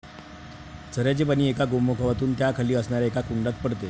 झऱ्याचे पाणी एका गोमुखातून त्याखाली असणाऱ्या एका कुंडात पडते.